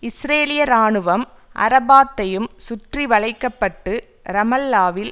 இஸ்ரேலிய இராணுவம் அரபாத்தையும் சுற்றி வளைக்க பட்டு ரமல்லாவில்